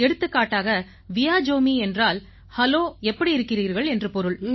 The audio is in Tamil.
எடுத்துக்காட்டாக வியா ழோமி என்றால் ஹெலோ எப்படி இருக்கிறீர்கள் என்று பொருள்